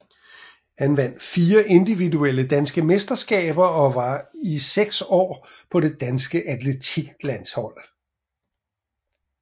Han vandt fire individuelle danske mesterskaber og var i seks år på det danske atletiklandshold